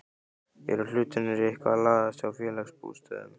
Eru hlutirnir eitthvað að lagast hjá Félagsbústöðum?